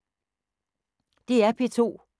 DR P2